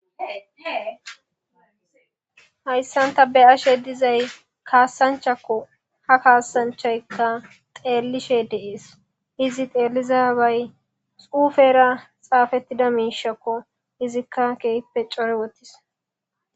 Hayissan ta beyashshe dizay kasanchchakko ha kasanchchayikka xelishshe des izi xelizabay xufera xafetida mishshikko izikka kehippe coyi wodhis